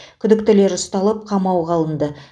күдіктілер ұсталып қамауға алынды